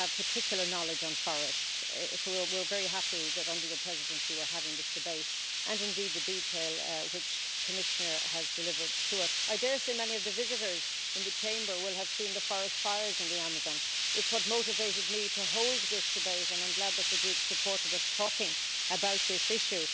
She has particular knowledge on forests so we are very happy that under her Presidency we're having this debate, and indeed the detail which the Commissioner has delivered to us. I dare say many of the visitors in the Chamber will have seen the forest fires in the Amazon. It's what motivated me to hold this debate and I am glad that the Group supported us talking about this issue.